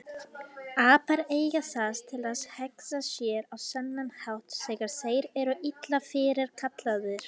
Apar eiga það til að hegða sér á þennan hátt þegar þeir eru illa fyrirkallaðir.